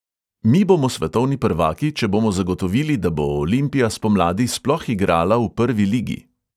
Mi bomo svetovni prvaki, če bomo zagotovili, da bo olimpija spomladi sploh igrala v prvi ligi.